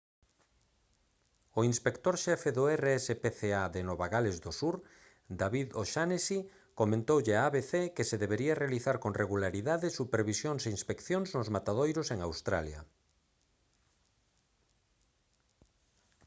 o inspector xefe do rspca de nova gales do sur david o'shannessy comentoulle a abc que se deberían realizar con regularidade supervisións e inspeccións nos matadoiros en australia